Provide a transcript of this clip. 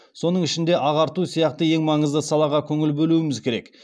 соның ішінде ағарту сияқты ең маңызды салаға көңіл бөлуіміз керек